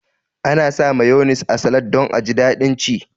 Ana sa mayones a salad don aji daɗin ci